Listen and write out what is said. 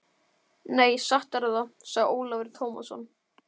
Nei, satt er það, sagði Ólafur Tómasson.